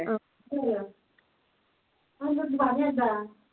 പ